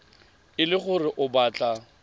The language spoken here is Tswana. e le gore o batla